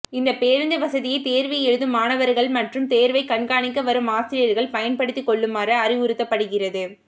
இந்த பேருந்து வசதியை தேர்வு எழுதும் மாணவர்கள் மற்றும் தேர்வை கண்காணிக்க வரும் ஆசிரியர்கள் பயன்படுத்திக் கொள்ளுமாறு அறிவுறுத்தப்படுகிறது